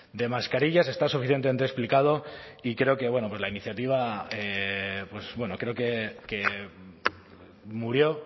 de mascarillas está suficientemente explicado y creo que bueno pues la iniciativa creo que murió